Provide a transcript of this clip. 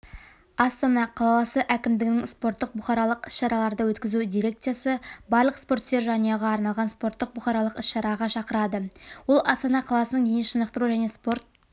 астана қаласы әкімдігінің спорттық-бұқаралық іс-шараларды өткізу дирекциясы барлық спортсүйер жанұяға арналған спорттық-бұқаралық іс-шараға шақырады ол астана қаласының дене шынықтыру және спорт